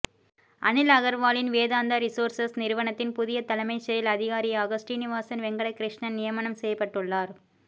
அனில் அகர்வாலின் வேதாந்தா ரிசோர்சஸ் நிறுவனத்தின் புதிய தலைமைச் செயல் அதிகாரியாக ஸ்ரீனிவாசன் வெங்கடகிருஷ்ணன் நியமனம் செய்யப்பட்டுள்ளார்